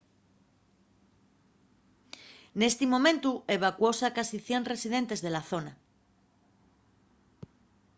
nesi momentu evacuóse a casi 100 residentes de la zona